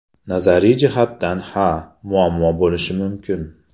Nazariy jihatdan ha, muammo bo‘lishi mumkin.